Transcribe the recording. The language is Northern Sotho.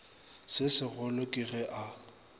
se segolo ke ge a